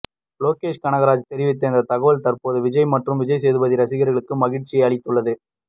லோகேஷ் கனகராஜ் தெரிவித்த இந்த தகவல் தற்போது விஜய் மற்றும் விஜய் சேதுபதி ரசிகர்களுக்கு மகிழ்ச்சியை அளித்துள்ளது